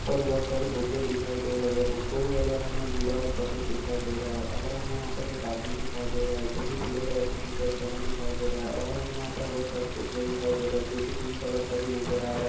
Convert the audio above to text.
ऊपर बहुत सारे भूखे दिखाई दे रहे हैंभुखो का कलर हमें नीला और सफेद दिखाई दे रहा है और हमें यहाँ पर एक आदमी दिखाई दे रहा है जो कि पीले कलर का टी -शर्ट पहने दिखाई दे रहा है और हमें यहाँ पर बहुत सारे फ़ुग्गे दिखाई दे रहे हैं जो की पिंक कलर का भी नजर आ रहा हैं।